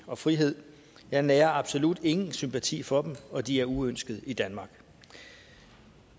og frihed jeg nærer absolut ingen sympati for dem og de er uønskede i danmark